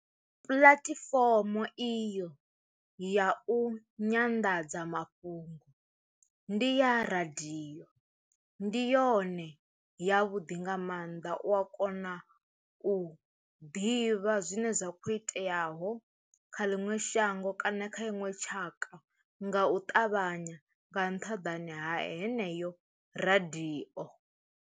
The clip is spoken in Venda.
Puḽatifomo iyo ya u nyanḓadza mafhungo ndi ya radio, ndi yone ya vhuḓi nga maanḓa u a kona u ḓivha zwine zwa kho iteaho kha ḽiṅwe shango kana kha iṅwe tshaka nga u ṱavhanya nga nṱhaḓani ha heneyo radio.